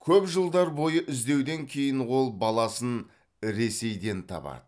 көп жылдар бойғы іздеуден кейін ол баласын ресейден табады